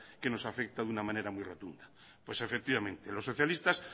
que nos afecta de una manera muy rotunda pues efectivamente los socialistas